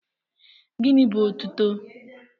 Gịnị bú otuto?